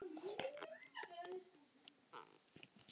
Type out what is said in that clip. Sókn: Ólafur Páll